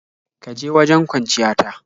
Ka ga wajen kwanciya ta.